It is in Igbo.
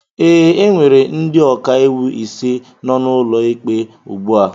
ee, e nwere ndị ọka iwu ise nọ n'ọnụ ụlọ ụlọikpe ugbu a